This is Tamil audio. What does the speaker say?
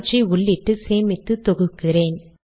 அவற்றை உள்ளிட்டு சேமித்து தொகுக்கிறேன்